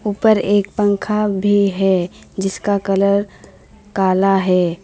ऊपर एक पंखा भी है जिसका कलर काला भी है।